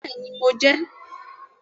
Bẹ́ẹ̀ni, mo jẹ́ ẹ